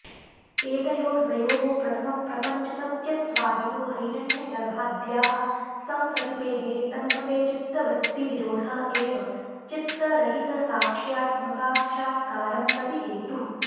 एतयोर्द्वयोः प्रथमं प्रपञ्चसत्यत्वादिनो हैरण्यगर्भाद्याः संप्रतिपेदिरे तन्मते चित्तवृत्तिनिरोधः एव चित्तरहितसाक्ष्यात्मसाक्षात्कारं प्रति हेतुः